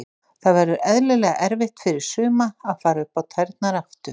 Það verður eðlilega erfitt fyrir suma að fara upp á tærnar aftur.